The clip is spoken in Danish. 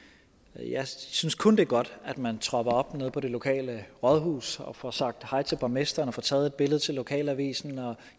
jeg synes kun det er godt at man tropper op nede på det lokale rådhus og får sagt hej til borgmesteren og får taget billede til lokalavisen